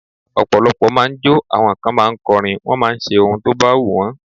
Ọ̀pọ̀lọpọ̀ máà ń jọ́, àwọn kan ma ń kọrin, wọ́n máà ń ṣe ohun tó bá wù wọ́n.